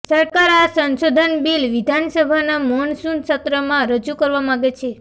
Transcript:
સરકાર આ સંશોધન બિલ વિધાનસભાના મોનસૂન સત્રમાં રજૂ કરવા માગે છે